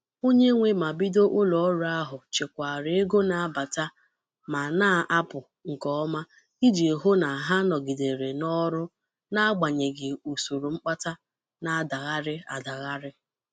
onye nwe ma bido ụlọọrụ ahụ chịkwara ego na-abata ma na-apụ nke ọma iji hụ na ha nọgidere n'ọrụ n'agbanyeghị usoro mkpata na-adaghari adagharị.